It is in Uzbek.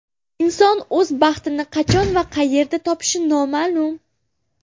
Inson o‘z baxtini qachon va qayerda topishi noma’lum.